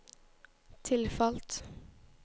tilfalt